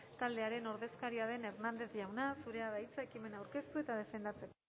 taldearen ordezkaria den hernández jauna zurea da hitza ekimena aurkeztu eta defendatzeko